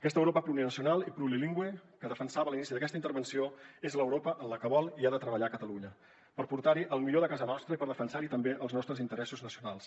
aquesta europa plurinacional i plurilingüe que defensava a l’inici d’aquesta intervenció és l’europa en la que vol i ha de treballar catalunya per portar hi el millor de casa nostra i per defensar hi també els nostres interessos nacionals